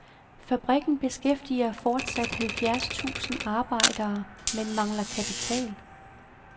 Fabrikken beskæftiger fortsat halvfjerds tusind arbejdere, men mangler kapital.